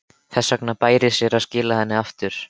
Þess vegna bæri sér að skila henni aftur.